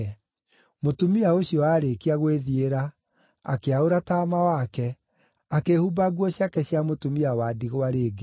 Mũtumia ũcio aarĩkia gwĩthiĩra, akĩaũra taama wake, akĩĩhumba nguo ciake cia mũtumia wa ndigwa rĩngĩ.